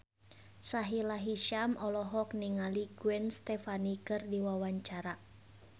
Sahila Hisyam olohok ningali Gwen Stefani keur diwawancara